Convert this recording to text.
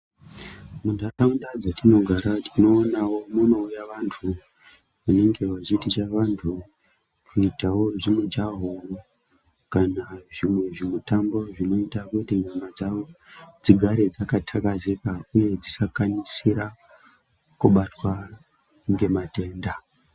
Mundaraunda dzatinogara tinoonawo kuti munouya vantu vanenge vachiticha vantu kuitawo zvimujaho kana zvimwewo zvimutambo zvinoita kuti nyama dzawo dzigare dzakathakazika uye dzisikasira kubatwa ngematenda.